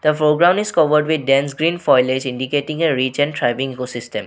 The foreground is covered with dense screen foilage indicating a reach and thriving eco system.